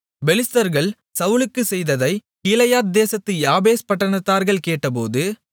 பெலிஸ்தர்கள் சவுலுக்குச் செய்ததைக் கீலேயாத் தேசத்து யாபேஸ் பட்டணத்தார்கள் கேட்டபோது